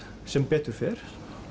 sem betur fer